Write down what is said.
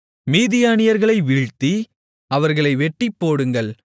மீதியானியர்களை வீழ்த்தி அவர்களை வெட்டிப்போடுங்கள்